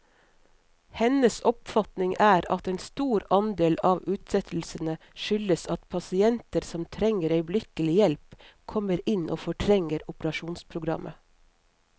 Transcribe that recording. Hennes oppfatning er at en stor andel av utsettelsene skyldes at pasienter som trenger øyeblikkelig hjelp, kommer inn og fortrenger operasjonsprogrammet.